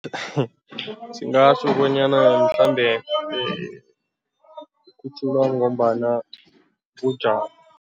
Singatjho bonyana mhlambe ikhutjhulwa ngombana bujamo.